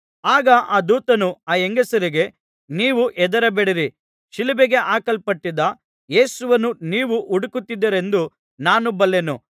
ಆಗ ದೂತನು ಆ ಹೆಂಗಸರಿಗೆ ನೀವು ಹೆದರಬೇಡಿರಿ ಶಿಲುಬೆಗೆ ಹಾಕಲ್ಪಟ್ಟಿದ್ದ ಯೇಸುವನ್ನು ನೀವು ಹುಡುಕುತ್ತಿದ್ದೀರೆಂದು ನಾನು ಬಲ್ಲೆನು